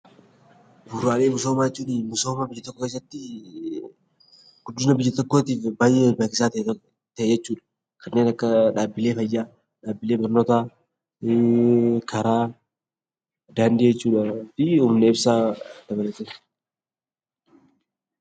Bu'uuraalee misoomaa jechuun misooma biyya tokkoo keessatti guddina biyya tokkootiif baay'ee barbaachisaa kan ta'e jechuudha. Kanneen akka dhaabbilee fayyaa, dhaabbilee barnootaa, karaa daandii jechuudhaa fi humna ibsaa dabalata.